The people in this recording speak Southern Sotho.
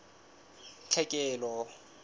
tlhekelo